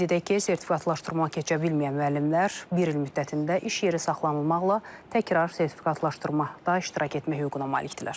Qeyd edək ki, sertifikatlaşdırma keçə bilməyən müəllimlər bir il müddətində iş yeri saxlanılmaqla təkrar sertifikatlaşdırmada iştirak etmək hüququna malikdirlər.